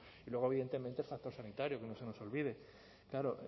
y luego evidentemente el factor sanitario que no se nos olvide claro